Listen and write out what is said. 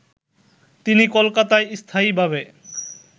তিনি কলকাতায় স্থায়ীভাবে